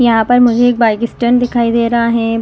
यहां पर मुझे एक बाइक स्टैंड दिखाई दे रहा है।